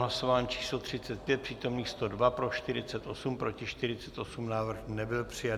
Hlasování číslo 35, přítomných 102, pro 48, proti 48, návrh nebyl přijat.